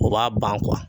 O b'a ban kuwa